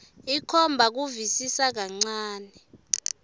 ikhomba kusivisisa kancane